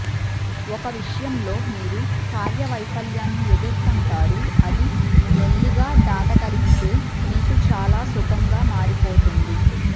ఒక విషయంలో మీరు కార్య వైఫల్యాన్ని ఎదుర్కొంటారు అది మెల్లిగా దాటగలిగితే మీకు చాలా సుఖంగా మారిపోతుంది